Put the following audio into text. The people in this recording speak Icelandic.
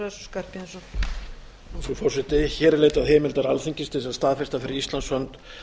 frú forseti hér er leitað heimildar alþingis til þess að staðfesta fyrir íslands hönd